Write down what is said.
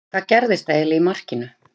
Hvað gerðist eiginlega í markinu?